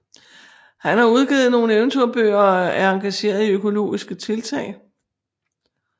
Han har udgivet nogle eventyrbøger og er engageret i økologiske tiltag